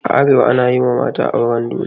A arewa ana yi wa mata auren dole.